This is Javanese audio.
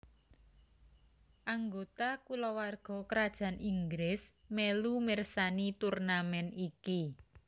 Anggota Kulawarga Krajan Inggris mèlu mirsani turnamèn iki